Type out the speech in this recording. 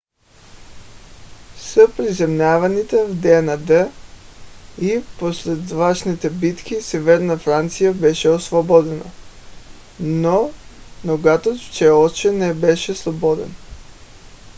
с приземяванията в деня д и последващите битки северна франция беше освободена но югът все още не беше свободен